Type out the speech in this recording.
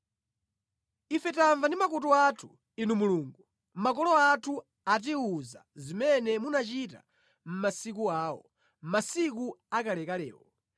Ife tamva ndi makutu athu, Inu Mulungu; makolo athu atiwuza zimene munachita mʼmasiku awo, masiku akalekalewo.